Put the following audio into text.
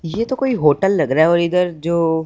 ये तो कोई होटल लग रहा है और इधर जो--